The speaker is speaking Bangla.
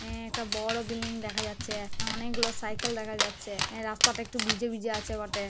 হ্যাঁ একটা বড় বিল্ডিং দেখা যাচ্ছে অনেকগুলো সাইকেল দেখা যাচ্ছে আ রাস্তাটা একটু ভিজে ভিজে আছে বটে।